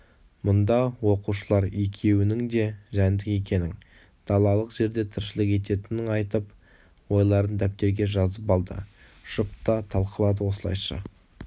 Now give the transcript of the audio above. мұнда оқушылар екеуінің де жәндік екенін далалық жерде тіршілік ететінін айтып ойларын дәптерге жазып алды жұпта талқылады осылайша